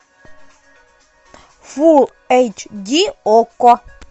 фулл эйч ди окко